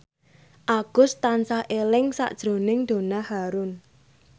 Agus tansah eling sakjroning Donna Harun